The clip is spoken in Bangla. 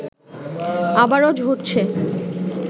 আবারও ঝরছে